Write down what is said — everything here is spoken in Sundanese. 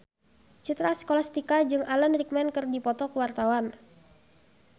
Citra Scholastika jeung Alan Rickman keur dipoto ku wartawan